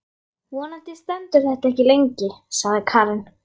Vonandi stendur þetta ekki lengi, sagði Karen.